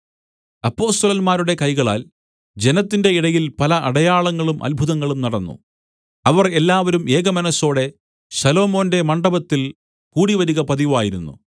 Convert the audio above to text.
അപ്പൊസ്തലന്മാരുടെ കൈകളാൽ ജനത്തിന്റെ ഇടയിൽ പല അടയാളങ്ങളും അത്ഭുതങ്ങളും നടന്നു അവർ എല്ലാവരും ഏകമനസ്സോടെ ശലോമോന്റെ മണ്ഡപത്തിൽ കൂടിവരിക പതിവായിരുന്നു